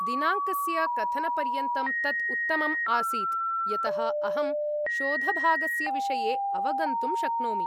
दिनाङ्कस्य कथनपर्यन्तं तत् उत्तमम् आसीत्, यतः अहं शोधभागस्य विषये अवगन्तुं शक्नोमि।